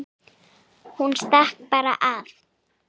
Hún stakk bara af.